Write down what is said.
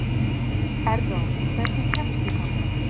Erró, hvernig kemst ég þangað?